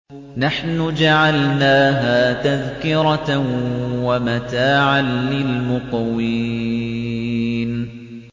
نَحْنُ جَعَلْنَاهَا تَذْكِرَةً وَمَتَاعًا لِّلْمُقْوِينَ